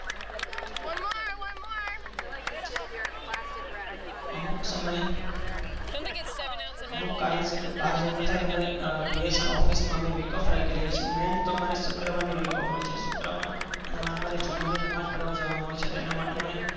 અમુક સમય કોઈ કારણે બાર જવા નું થાય તો અમે Bsnl office માં અમે રઝા રાખી દિયે છીએ મેન તો અમર શુક્રવારે ની week off હોય છે. અને આમરે શુક્રવારે જુમ્માનીનમાઝ પાઠવા જવા નું હોય છે.